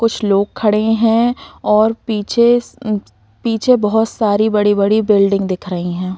कुछ लोग खड़े हैं और पीछे स पीछे बोहोत सारी बड़ी-बड़ी बिल्डिंग दिख रही हैं।